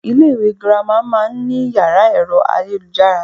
Ilé ìwé girama má a nní yàrá èro ayélujára